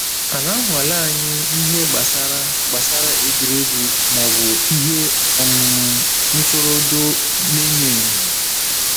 A na-anwale anyịkwa n’ihe gbasara gbasara egwuregwu ma ọ bụ ihe um ntụrụndụ na-enyo enyo?